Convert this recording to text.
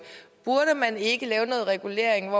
burde man ikke lave noget regulering